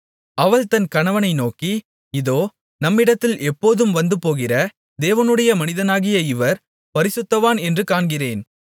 அவள் தன் கணவனை நோக்கி இதோ நம்மிடத்தில் எப்போதும் வந்துபோகிற தேவனுடைய மனிதனாகிய இவர் பரிசுத்தவான் என்று காண்கிறேன்